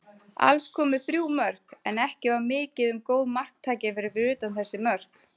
Alls komu þrjú mörk, en ekki var mikið um góð marktækifæri fyrir utan þessi mörk.